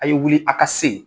A ye wili a ka se yen.